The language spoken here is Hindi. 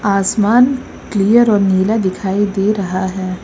आसमान क्लियर और नीला दिखाई दे रहा है।